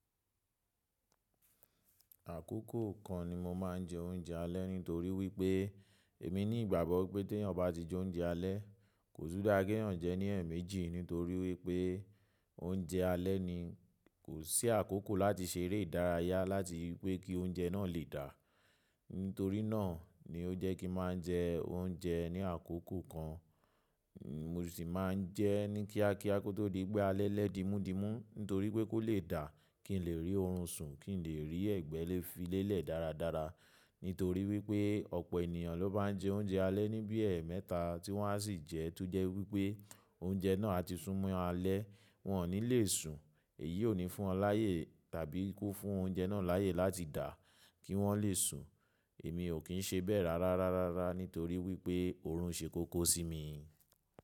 Àkókò kan ni mo máa ń jẹ oúnjẹ alẹ́ nítorí wípé èmi ní ìgbàgbọ́ pé tí èèyàn bá ti jẹ oúnjẹ alẹ́, kò tún dá ki èèyàn jẹ ní ẹ̀ẹ̀mẹjì nítorí wípé oúnjẹ alẹ́ ni kò sí àkókò láti ṣe eré ìdárayá láti wípé kí oúnjẹ náà lè dà. Nítorí náà ni ó jẹ́ kí máa ń jẹ oúnjẹ ní àkókò kan. Mo sì máa ń jẹ ní kíákíá kó tó di pé alẹ́ lẹ́dimúdimú nítorí pé kó lè dà kí n lè rí oorun sùn, kí n lè rí ẹ̀gbẹ́ lé filélẹ̀ dáradára. Nítorí wípé ọ̀pọ̀ ènìyàn ló má ń jẹ oúnjẹ alẹ́ ní bíi ẹẹmẹta tí wọ́n á sì jẹ́ tojẹ́ wípé oúnjẹ náà ati sún mọ́ alẹ́, wọ́n ò ní lè sùn. Èyí ò ní fún wọn láàyè tàbí kó fún oúnjẹ náà láàyè láti dà kí wọ́n lè sùn. Èmi ò kín ṣe bẹ rárá rárará nítorí wípé oorun ṣe kókó sí mi.